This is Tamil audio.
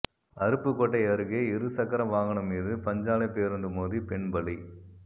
அருப்புக்கோட்டை அருகே இருசக்கர வாகனம் மீது பஞ்சாலைப் பேருந்து மோதி பெண் பலி